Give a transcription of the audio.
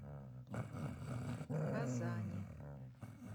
казани